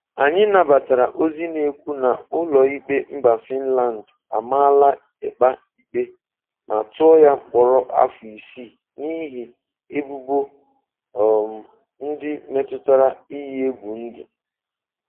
"Anyị nabatara ozi na-ekwu na ụlọikpe mba Fịnland amaala Ekpa ikpe ma tụọ ya mkpọrọ afọ isii n'ihi ebubo um ndị metụtara iyi egwu ndụ".